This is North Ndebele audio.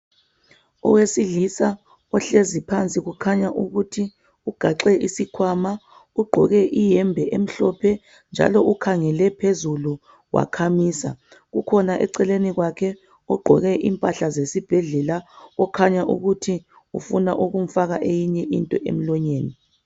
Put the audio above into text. Owesilisa ohlezi. phansi kukhanya ukuthi ugaxe isikhwama ugqoke iyembe emhlophe njalo ukhangele phezulu wakhamisa. Ukhona eceleni kwakhe ogqoke impahla zesibhedlela okhanya ukuthi ufuna ukumfaka eyinye into emlonyeni.